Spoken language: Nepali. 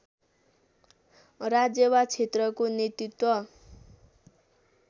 राज्य वा क्षेत्रको नेतृत्व